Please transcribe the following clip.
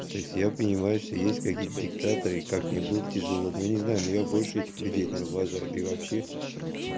то есть я понимаю что есть какие-то диктаторы и как мне будет тяжело ну я не знаю но я больше этих людей наверно уважаю да и вообще